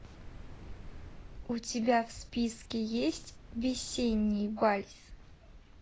у тебя в списке есть весенний вальс